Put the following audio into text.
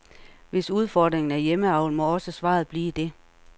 Hvis udfordringen er hjemmeavl, må også svaret blive det.